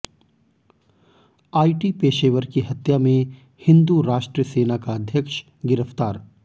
IT पेशेवर की हत्या में हिंदू राष्ट्र सेना का अध्यक्ष गिरफ्तार